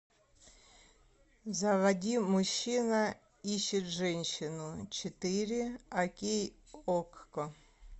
заводи мужчина ищет женщину четыре окей окко